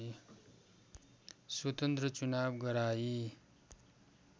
स्वतन्त्र चुनाव गराई